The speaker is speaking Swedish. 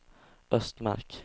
Östmark